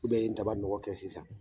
U bɛ ye ntabanɔgɔ kɛ sisan